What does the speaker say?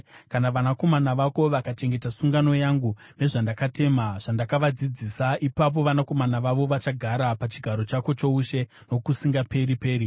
kana vanakomana vako vakachengeta sungano yangu nezvandakatema zvandakavadzidzisa, ipapo vanakomana vavo vachagara pachigaro chako choushe nokusingaperi-peri.”